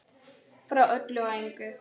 Frá öllu og engu.